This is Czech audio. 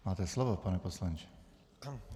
Máte slovo, pane poslanče.